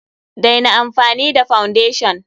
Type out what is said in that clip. Daina amfani da foundation!